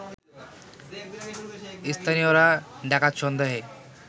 স্থানীয়রা ডাকাত সন্দেহে